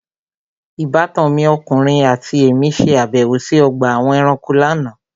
Ìbátan mi ọkùnrin àti èmí ṣe àbẹ̀wò sí ọgbà àwọn ẹranko lánàá.